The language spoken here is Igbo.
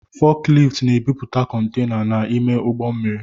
Fọkilift na-ebupute kontaina n’ime ụgbọ mmiri